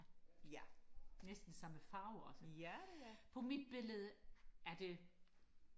ja næsten samme farve også på mit billede er det